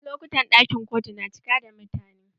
A wasu lokutan ɗakin kotu na cika da mutane.